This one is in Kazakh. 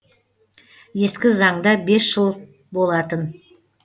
ескі заңда бес жыл болатын